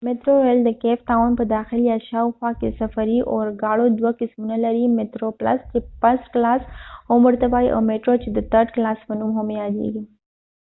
مترو ریل د کیپ تاون په داخل یا شاوخوا کې د سفري اورګاړو دوه قسمونه لري: مترو پلس چې فرست کلاس هم ورته وایی او میترو چې د ترډ کلاس په نوم هم یادیږي